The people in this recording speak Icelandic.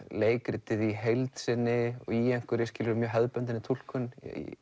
leikritið í heild sinni í mjög hefðbundinni túlkun